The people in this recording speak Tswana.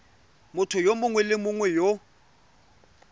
motho yo mongwe le yo